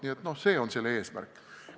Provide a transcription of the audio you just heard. Nii et see on eesmärk.